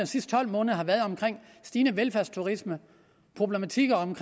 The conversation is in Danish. sidste tolv måneder om stigende velfærdsturisme problematikker om